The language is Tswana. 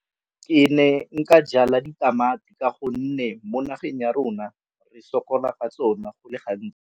Ke ne nka jala ditamati ka gonne mo nageng ya rona re sokolang ka tsona go le gantsi.